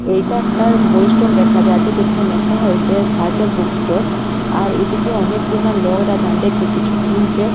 এইটা একটা বই স্টোর দেখা যাচে যেথায় নেখা হয়েছে হায়দার বুক স্টোর আর এদিকে অনেকগুলো লোকরা ডানদিকে কিচু কিনচে।